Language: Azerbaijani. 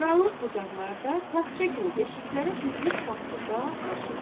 Qaranlıq bucaqlarda taxça kimi deşiklərə düzülüb saxsı qab-qaşıq.